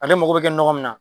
Ale mago bɛ kɛ nɔgɔ min na.